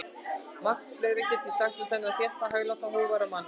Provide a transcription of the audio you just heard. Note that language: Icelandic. Margt fleira gæti ég sagt um þennan þétta, hægláta og hógværa mann.